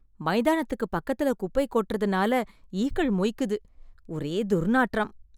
மைதானத்திற்கு பக்கத்துல குப்பை கொட்டுறதுனால ஈக்கள் மொய்க்குது, ஒரே துர்நாற்றம்.